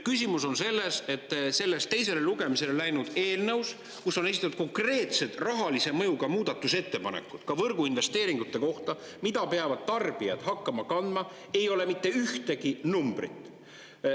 Küsimus on selles, et selles teisele lugemisele läinud eelnõus, kus on esitatud konkreetsed rahalise mõjuga muudatusettepanekud ka võrgu investeeringute kohta, mida peavad tarbijad hakkama kandma, ei ole mitte ühtegi numbrit.